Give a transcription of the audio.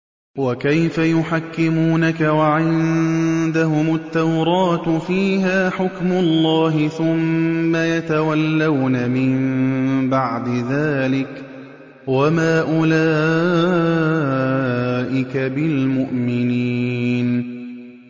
وَكَيْفَ يُحَكِّمُونَكَ وَعِندَهُمُ التَّوْرَاةُ فِيهَا حُكْمُ اللَّهِ ثُمَّ يَتَوَلَّوْنَ مِن بَعْدِ ذَٰلِكَ ۚ وَمَا أُولَٰئِكَ بِالْمُؤْمِنِينَ